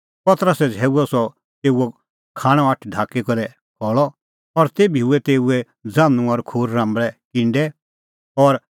पतरसै झ़ैऊअ सह तेऊओ खाणअ हाथ ढाकी करै खल़अ और तेभी हुऐ तेऊए ज़ान्हूं और खूर राम्बल़ै किंडै और